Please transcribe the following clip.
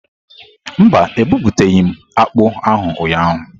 Mba, ebuputaghi m akpu ahu ụnyahụ.